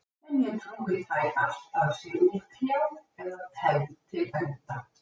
Sem ég trúi tæpast að sé útkljáð eða tefld til enda.